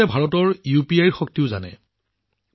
আপুনি ভাৰতৰ ইউপিআইৰ শক্তিও জানে